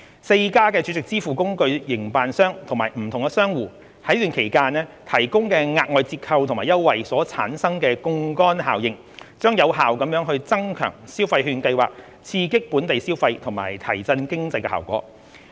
四間儲值支付工具營辦商及不同商戶在此期間提供的額外折扣及優惠所產生的槓桿效應，將有效增強消費券計劃刺激本地消費及提振經濟的效果。